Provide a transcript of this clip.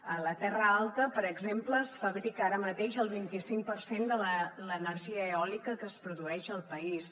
a la terra alta per exemple es fabrica ara mateix el vint icinc per cent de l’energia eòlica que es produeix al país